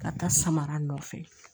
Ka taa samara nɔfɛ